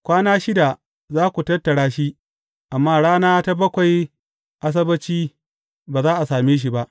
Kwana shida za ku tattara shi, amma a rana ta bakwai, Asabbaci, ba za a same shi ba.